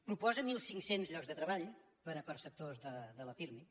proposa mil cinc cents llocs de treball per a perceptors de la pirmi